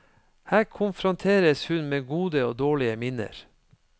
Her konfronteres hun med gode og dårlige minner.